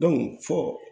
fɔ